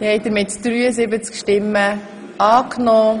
Sie haben Ziffer 4 angenommen.